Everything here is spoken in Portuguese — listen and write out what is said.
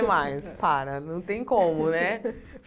Mais, para, não tem como, né?